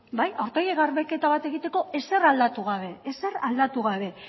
bai aurpegi garbiketa bat egiteko ezer aldatu gabe